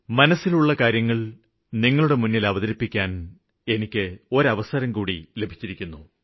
മനസ്സിലുള്ള കാര്യങ്ങള് നിങ്ങളുടെ മുന്നില് അവതരിപ്പിക്കാന് എനിക്ക് ഒരു അവസരം ലഭിച്ചിരിക്കുന്നു